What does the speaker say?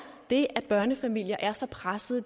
det at børnefamilier er så pressede